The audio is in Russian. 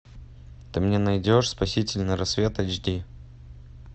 ты мне найдешь спасительный рассвет эйч ди